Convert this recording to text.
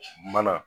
Mana